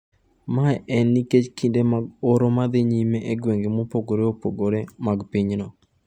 Mae en nikech kinde mag oro ma dhi nyime e gwenge mopogre opogre mag pinyno.